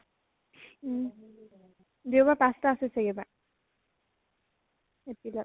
দেওবাৰ পাঁচ টা আছে চাগে এইবাৰ april ত